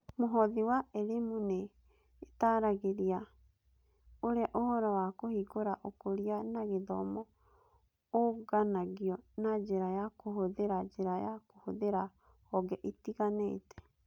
Mũhothi wa Elimu nĩ ĩtaaragĩria ũrĩa ũhoro wa Kũhingũra Ũkũria na Gĩthomo ũũnganagio na njĩra ya kũhũthĩra njĩra ya kũhũthĩra honge itiganĩte.